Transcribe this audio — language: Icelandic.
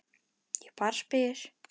Ég bara spyr.